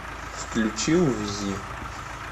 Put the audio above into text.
включи увези